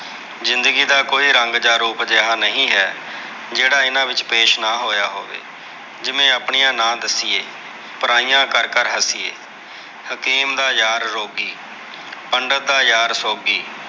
ਜ਼ਿੰਦਗੀ ਦਾ ਕੋਈ ਰੰਗ ਜਾਂ ਰੂਪ ਅਜਿਹਾ ਨਹੀਂ ਹੈ। ਜਿਹੜਾ ਇਹਨਾਂ ਵਿੱਚ ਪੇਸ਼ ਨਾ ਹੋਇਆ ਹੋਵੇ। ਜਿਵੇ, ਆਪਣੀਆ ਨਾ ਦੱਸੀਏ, ਪਰਾਈਆਂ ਕਰ-ਕਰ ਹੱਸੀਏ। ਹਕੀਮ ਦਾ ਯਾਰ ਰੋਗੀ, ਪੰਡਤ ਦਾ ਯਾਰ ਸੋਗੀ।